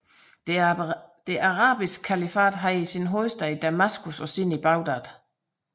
Det arabiske kalifat havde sin hovedstad i Damaskus og siden i Bagdad